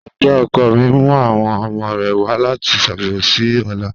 Ẹ̀gbọ́̀n ọkọ mi n mu awọn ọmọ rẹ wa lati ṣabẹwo si ọla.